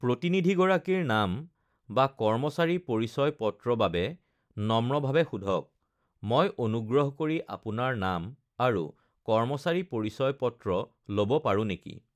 "প্ৰতিনিধিগৰাকীৰ নাম বা কৰ্মচাৰী পৰিচয়-পত্ৰ বাবে নম্ৰভাৱে সোধক: ""মই অনুগ্ৰহ কৰি আপোনাৰ নাম আৰু কৰ্মচাৰী পৰিচয়-পত্ৰ ল'ব পাৰো নেকি?"""